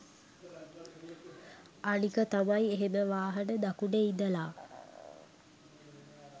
අනික තමයි එහෙම වාහන දකුණෙ ඉඳලා